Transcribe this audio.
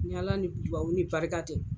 Ni Ala ni duwawu ni barika tɛ.